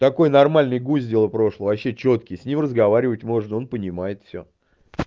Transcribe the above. такой нормальный гусь дело прошлого вообще чёткий с ним разговаривать можно он понимает всё